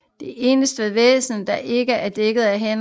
Det eneste ved væsenet der ikke er dækket er hænderne